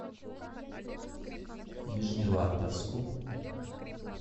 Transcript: нижневартовску